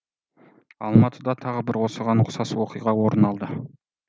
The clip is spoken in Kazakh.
алматыда тағы бір осыған ұқсас оқиға орын алды